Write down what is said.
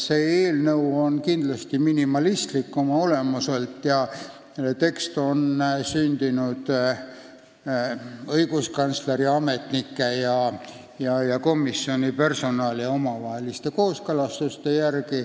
See eelnõu on oma olemuselt kindlasti minimalistlik, selle tekst on sündinud õiguskantsleri ametnike ja komisjoni personali omavaheliste kooskõlastuste põhjal.